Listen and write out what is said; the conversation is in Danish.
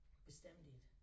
Bestemt ikke